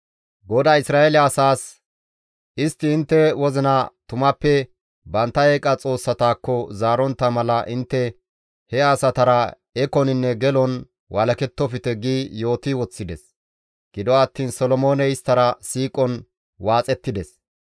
GODAY Isra7eele asaas, «Istti intte wozina tumappe bantta eeqa xoossatakko zaarontta mala intte he asatara ekoninne gelon walakettofte» gi yooti woththides; gido attiin Solomooney isttara siiqon waaxettides.